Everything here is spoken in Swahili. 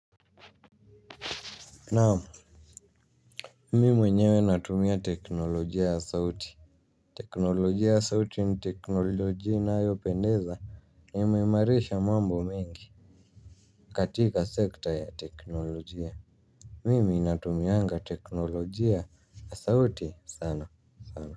Naam. Mimi mwenyewe natumia teknolojia ya sauti. Teknolojia ya sauti ni teknolojia inayo pendeza. Imeimarisha mambo mengi katika sekta ya teknolojia. Mimi natumianga teknolojia ya sauti sana sana.